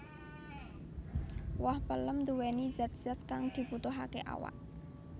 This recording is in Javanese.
Woh pelem nduwéni zat zat kang dibutuhaké awak